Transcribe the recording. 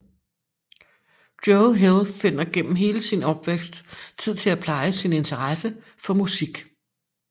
Joe Hill finder gennem hele sin opvækst tid til at pleje sin interesse for musik